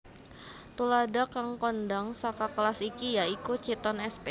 Tuladha kang kondhang saka kelas iki ya iku Chiton sp